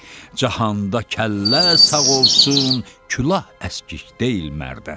Cahanda kəllə sağ olsun, külah əskik deyil mərdə.